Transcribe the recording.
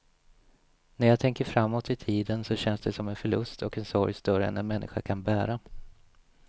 När jag tänker framåt i tiden så känns det som en förlust och en sorg större än en människa kan bära.